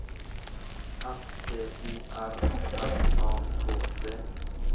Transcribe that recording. S T O R M A K T